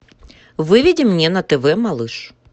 выведи мне на тв малыш